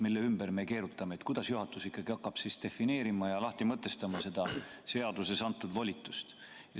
Selle ümber me nüüd keerutame, et kuidas juhatus ikkagi hakkab defineerima ja lahti mõtestama seda seaduses antud volitust.